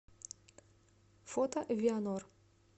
фото вианор